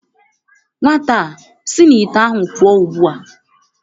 Nwata a si n' ite ahụ pụọ ugbu a!